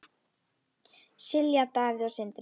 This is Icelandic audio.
Silja, Davíð og Sindri.